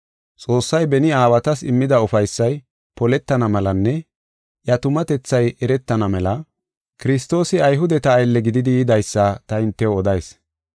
Xoossay beni aawatas immida ufaysay poletana melanne iya tumatethay eretana mela Kiristoosi Ayhudeta aylle gididi yidaysa ta hintew odayis.